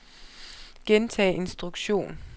gentag instruktion